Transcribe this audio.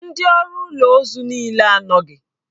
Ndị ọrụ ụlọ ozu niile anọghị.